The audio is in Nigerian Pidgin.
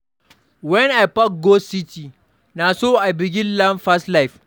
Wen I pack go city, na so I begin learn fast life.